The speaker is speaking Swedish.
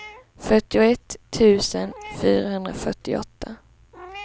fyrtioett tusen fyrahundrafyrtioåtta